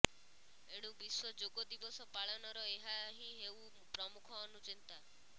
ଏଣୁ ବିଶ୍ୱ ଯୋଗ ଦିବସ ପାଳନର ଏହାହିଁ ହେଉ ପ୍ରମୁଖ ଅନୁଚିନ୍ତା